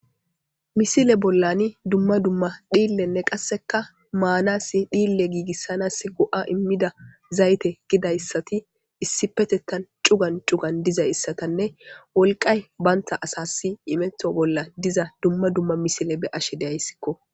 Misile bollani dumma dumma dhillenne qasseka maanasi dhille giigissanas go7a immida zayte gidayssati issi petettan cugan cugan diza issatanne wolqay baynta asasi imeto bolla diza dumma dumma misile be ashe deayssikko